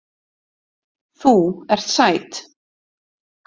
Þú ert sæt.